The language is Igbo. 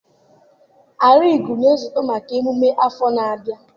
Arigu na-esote maka emume afọ na-abịa.